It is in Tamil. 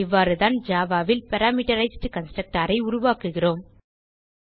இவ்வாறுதான் ஜாவா ல் பாராமீட்டரைஸ்ட் கன்ஸ்ட்ரக்டர் உருவாக்குகிறோம்